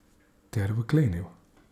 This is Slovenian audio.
Ter vklenil.